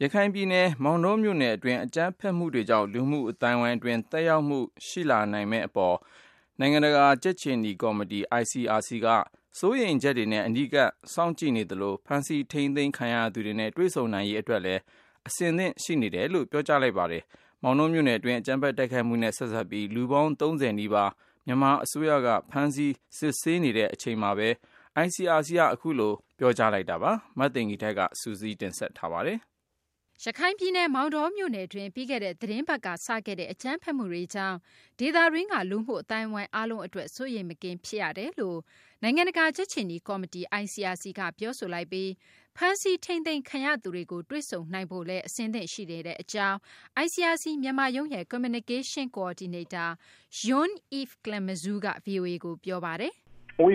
ရခိုင်ပြည်နယ် မောင်တောမြို့နယ် အတွင်းက အကြမ်းဖက်မှုတွေကြောင့် လူမှုအသိုင်းအဝိုင်း အတွင်း သက်ရောက်မှု ရှိလာမယ့် အပေါ် စိုးရိမ်ချက်နဲ့ အနီးကပ် စောင့်ကြည့်နေသလို ဖမ်းဆီးထိန်းသိမ်းခံရသူတွေနဲ့ တွေ့ဆုံနိုင်ရေး အတွက်လည်း အဆင်သင့် ရှိတယ်လို့ နိုင်ငံတကာ ကြက်ခြေနီ ကော်မတီ ICRC က ပြောဆိုလိုက်ပါတယ်။ မောင်တောမြို့နယ် အတွင်း အကြမ်းဖက် တိုက်ခိုက်မှုတွေနဲ့ ဆက်စပ်ပြီး လူပေါင်း ၃၀ နီးပါးကို မြန်မာ အစိုးရက ဖမ်းဆီး စစ်ဆေးနေတဲ့ အချိန်မှာဘဲ ICRC က အခုလို ပြောဆိုလိုက်တာ ဖြစ်ပါတယ်။ မသိင်္ဂ ီထိုက် စုစည်းတင်ပြထားပါတယ်။ ရခိုင်ပြည်နယ် မောင်တောမြို့နယ်တွင်း ပြီးခဲ့တဲ့ သတင်းပတ်က စခဲ့တဲ့ အကြမ်းဖက်မှုတွေကြောင့် ဒေသတွင်းက လူမှု အသိုင်းအဝိုင်း အားလုံး အတွက် စိုးရိမ်မကင်း ဖြစ်ရတယ်လို့ နိုင်ငံတကာ ကြက်ခြေနီ ကော်မတီ ICRC ကပြောဆိုလိုက်ပြီး ဖမ်းဆီးထိန်းသိမ်းခံရသူတွေကို တွေ့ဆုံနိုင်ဖို့လည်း အဆင်သင့် ရှိနေတဲ့ အကြောင်း ICRC မြန်မာရုံးရဲ့ Communication Coordinator Jean-Yves Clemenzo က ဗွီအိုအေကို ပြောပါတယ်။ “ရ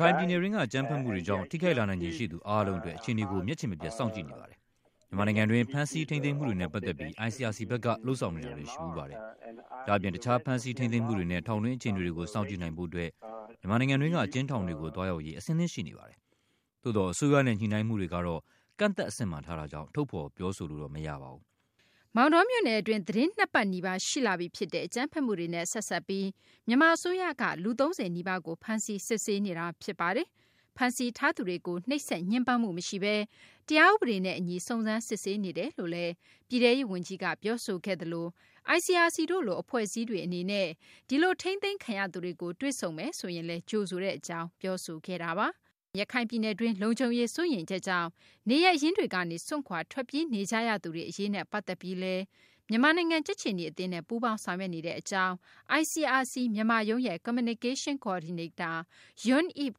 ခိုင်ပြည်နယ်တွင်းက အကြမ်းဖက်မှုတွေကြောင့် ထိခိုက်လာနိုင်ခြေရှိသူ အားလုံးအတွက် အခြေအနေကို မျက်ခြေမပြတ်စောင့်ကြည့်နေပါတယ်။ မြန်မာနိုင်ငံတွင်းက ဖမ်းဆီးထိန်းသိမ်းမှုတွေနဲ့ ပတ်သက်ပြီး ICRC ဘက်က လုပ်ဆောင်ဖူးတာတွေ ရှိပါတယ်။ ဒါ့အပြင် တခြား ဖမ်းဆီးထိန်းသိမ်းမှုတွေနဲ့ ထောင်တွင်း အခြေအနေတွေကို စောင့်ကြည့်နိုင်ဖို့ အတွက် မြန်မာနိုင်ငံတွင်းက အကျဉ်းထောင်တွေကို သွားရောက်ဖို့ အတွက် အဆင်သင့် ရှိနေပါတယ်။ ဒါပေမယ့် အစိုးရနဲ့ ညှိနှိုင်းမှုတွေကတော့ ကန့်သတ် အဆင့်မှာ ထားတာကြောင့် ထုတ်ဖော် ပြောဆိုလို့တော့ မရပါဘူး။” မောင်တောမြို့နယ် အတွင်း သတင်း ၂ ပတ်နီးပါး ရှိလာပြီ ဖြစ်တဲ့ အကြမ်းဖက်မှုတွေနဲ့ ဆက်စပ်ပြီး မြန်မာ အစိုးရက လူ ၃၀ နီးပါးကို ဖမ်းဆီး စစ်ဆေးနေတာ ဖြစ်ပါတယ်။ ဖမ်းဆီးထားသူတွေကို နှိပ်စက်ညှဉ်းပန်းမှု မရှိဘဲ တရားဥပဒေနဲ့ အညီ စုံစမ်းစစ်ဆေးနေတယ်လို့လည်း ပြည်ထဲရေး ဝန်ကြီးက ပြောဆိုခဲ့သလို ICRC တို့လို အဖွဲ့အစည်းတွေ အနေနဲ့ ဒီထိန်းသိမ်းခံရသူတွေကို တွေ့ဆုံမယ်ဆိုရင်လည်း ကြိုဆိုတယ်လို့လည်း ပြောဆိုပါတယ်။ ရခိုင်ပြည်နယ်တွင်း လုံခြုံရေး စိုးရိမ်ချက်ကြောင့် နေရပ်ရင်းတွေကနေ စွန့်ခွာ ထွက်ပြေးနေကြရသူတွေ အရေးနဲ့ ပတ်သက်ပြီးလည်း မြန်မာနိုင်ငံ ကြက်ခြေနီ အသင်းနဲ့ ပူးပေါင်းဆောင်ရွက်နေတဲ့ အကြောင်း ICRC မြန်မာရုံးရဲ့ Communication Coordinator Jean-Yves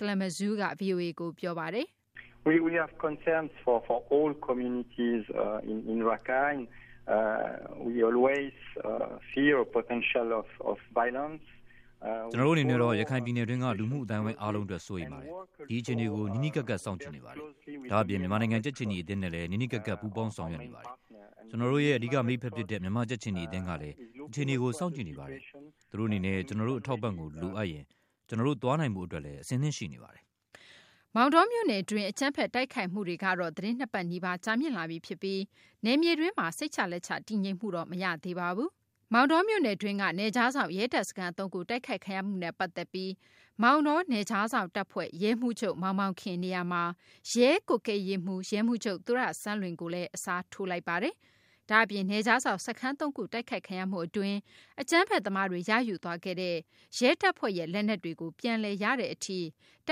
Clemenzo က ဗွီအိုအေကို ပြောပါတယ်။ “ကျနေ်ာတို့ အနေနဲ့တော့ ရခိုင်ပြည်နယ်တွင်းက လူမှု အသိုင်းအဝိုင်း အားလုံးအတွက် စိုးရိမ်ပါတယ်။ ဒီအခြေအနေကို နီးနီးကပ်ကပ် စောင့်ကြည့်နေပါတယ်။ ဒါ့အပြင် မြန်မာ ကြက်ခြေနီ အသင်းနဲ့လည်း နီးနီးကပ်ကပ် ပူးပေါင်းဆောင်ရွက်နေပါတယ်။ ကျနေ်ာတို့ရဲ့ အဓိက မိတ်ဖက် ဖြစ်တဲ့ မြန်မာ့ ကြက်ခြေနီ အသင်းကလည်း အခြေအနေကို စောင့်ကြည့်နေပါတယ်။ သူတို့ အနေနဲ့ ကျနော်တို့ရဲ့ အထောက်အပံ့ကို လိုအပ်ရင် ကျနော်တို့ သွားနိုင်ဖို့ အတွက်လည်း အဆင်သင့် ရှိနေပါတယ်။” မောင်တောမြို့နယ်တွင်း အကြမ်းဖက် တိုက်ခိုက်မှုတွေကတော့ သတင်း ၂ ပတ်နီးပါး ကြာမြင့်လာပြီး ဖြစ်ပြီး နယ်မြေတွင်းမှာ စိတ်ချလက်ချ တည်ငြိမ်မှုတော့ မရှိသေးပါဘူး။ မောင်တောမြို့နယ်တွင်းက နယ်ခြားစောင့် ရဲတပ်စခန်း ၃ ခုတိုက်ခိုက်ခံရမှုနဲ့ ပတ်သက်ပြီး မောင်တော နယ်ခြားစောင့် တပ်ဖွဲ့ ရဲမှူးချုပ် မောင်မောင်ခင် နေရာမှာ ရဲကွပ်ကဲရေးမှူး ရဲမှူးချုပ် သူရစန်းလွင်ကို အစားထိုးလိုက်ပါတယ်။ ဒါ့အပြင် နယ်ခြားစောင့် စခန်းသုံးခု တိုက်ခိုက်ခံရမှု အတွင်း အကြမ်းဖက် သမားတွေ ရယူသွားခဲ့တဲ့ ရဲတပ်ဖွဲ့ရဲ့ လက်နက်တွေကို ပြန်လည် ရရှိတဲ့ အထိ တ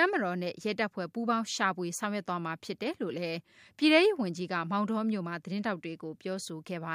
ပ်မတော်နဲ့ ရဲတပ်ဖွဲ့ ပူးပေါင်းရှာဖွေ ဆောင်ရွက်သွားမှာ ဖြစ်တယ်လို့လည်း ပြည်ထဲရေး ဝန်ကြီးက မောင်တောမြို့မှာ သတင်းထောက်တွေကို ပြောဆိုသွားပါ